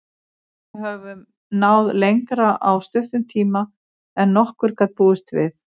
Við höfum náð lengra á stuttum tíma en nokkur gat búist við.